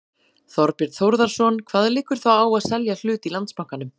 Þorbjörn Þórðarson: Hvað liggur þá á að selja hlut í Landsbankanum?